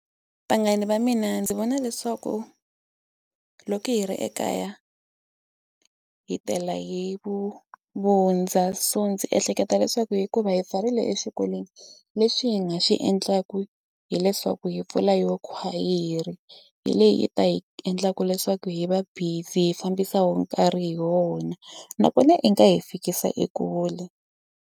Vanghana va mina ndzi vona leswaku loko hi ri ekaya hi tela hi vu vundza so ndzi ehleketa leswaku hikuva hi pfarile exikolweni leswi hi nga xi endlaka hileswaku hi pfula yo khwayere hi leyi yi ta hi endlaka leswaku hi va busy hi fambisa wo nkarhi hi wona nakona i nga hi fikisa ekule.